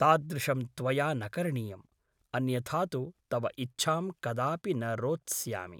तादृशं त्वया न करणीयम् । अन्यथा तु तव इच्छां कदापि न रोत्स्यामि ।